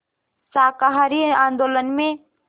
शाकाहारी आंदोलन में